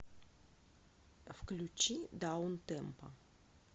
включи даунтемпо